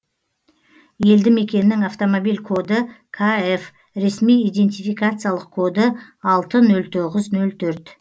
елді мекеннің автомобиль коды кғ ресми идентификациялық коды алты нөл тоғыз нөл төрт